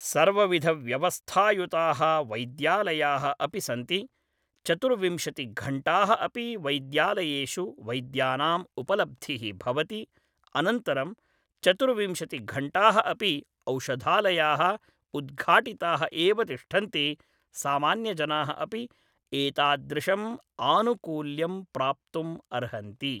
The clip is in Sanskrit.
सर्वविधव्यवस्थायुताः वैद्यालयाः अपि सन्ति चतुर्विंशतिघण्टाः अपि वैद्यालयेषु वैद्यानाम् उपलब्धिः भवति अनन्तरं चतुर्विंशतिघण्टाः अपि औषधालयाः उद्घाटिताः एव तिष्ठन्ति सामान्यजनाः अपि एतादृशम् आनुकूल्यं प्राप्तुम् अर्हन्ति